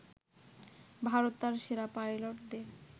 ভারত তার সেরা পাইলটদের